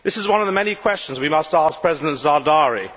This is one of the many questions we must ask President Zardari.